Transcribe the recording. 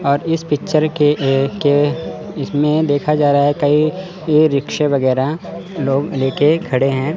और इस पिक्चर के के इसमें देखा जा रहा है कई ये रिक्शे वगैरा लोग लेके खड़े हैं।